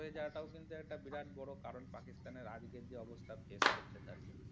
হয়ে যাওয়াটাও কিন্তু একটা বিরাট বড় কারণ পাকিস্তান এর আজকের যে অবস্থা face করছে তারা।